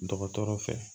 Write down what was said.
Dɔgɔtɔrɔ fɛ